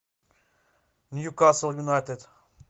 ньюкасл юнайтед